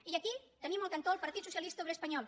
i aquí tenim al cantó el partit socialista obrer es panyol